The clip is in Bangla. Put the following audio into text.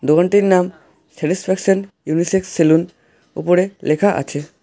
দোকানটির নাম স্যাটিসফ্যাকশন ইউনিসেক্স সেলুন উপরে লেখা আছে।